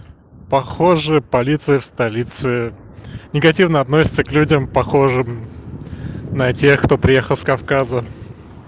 похоже полиция в столице негативно относится к людям похожим на тех кто приехал с кавказа